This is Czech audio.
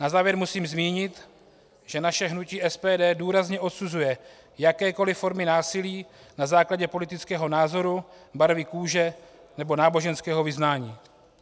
Na závěr musím zmínit, že naše hnutí SPD důrazně odsuzuje jakékoliv formy násilí na základě politického názoru, barvy kůže nebo náboženského vyznání.